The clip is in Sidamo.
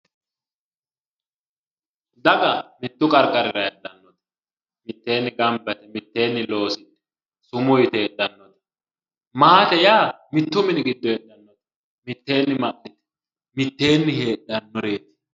Daga mittu qariqarira heedhanoreet miteenni ganibba yite miteenni loosidhe miteenni sumuu yite hedhanoreeti maate yaa mittu mini gido hedhanoreeti miteenni hedhanoreeti